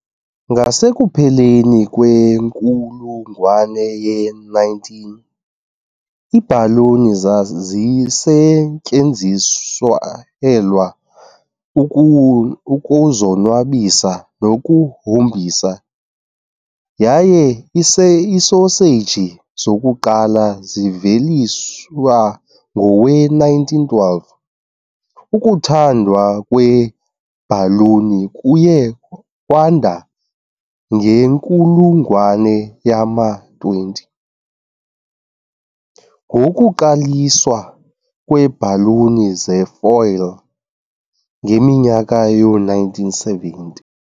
Ngasekupheleni kwenkulungwane ye-19, iibhaloni zazisetyenziselwa ukuzonwabisa nokuhombisa, yaye iisoseji zokuqala ziveliswa ngowe-1912. Ukuthandwa kweebhaluni kuye kwanda ngenkulungwane yama-20, ngokuqaliswa kweebhaluni zefoil ngeminyaka yoo-1970.